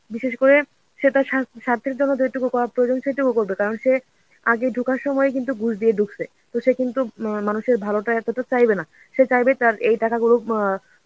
বিশেষ করে সে তার সা~ স্বার্থের জন্য যেটুকু করা প্রয়োজন সেটুকু করবে. কারণ সে আগে ঢোকার সময় কিন্তু ঘুষ দিয়ে ঢুকছে. তো সে কিন্তু অ্যাঁ মানুষের ভালোটা এতটা চাইবে না. সে চাইবে তার এই টাকাগুলো অ্যাঁ